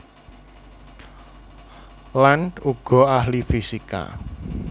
Land uga ahli fisika